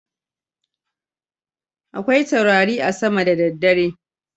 Akwai taurari a sama da daddare.